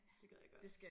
Det gad jeg godt